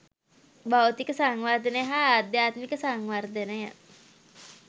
භෞතික සංවර්ධනය හා ආධ්‍යාත්මික සංවර්ධනය